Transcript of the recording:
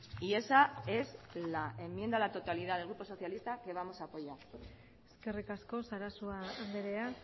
y esa es la enmienda a la totalidad del grupo socialista que vamos a apoyar eskerrik asko sarasua andrea